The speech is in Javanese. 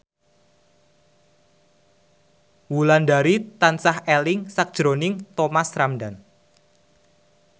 Wulandari tansah eling sakjroning Thomas Ramdhan